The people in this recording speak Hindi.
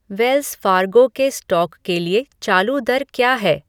वेल्स फ़ार्गो के स्टॉक के लिए चालू दर क्या है